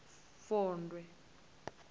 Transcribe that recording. vondwe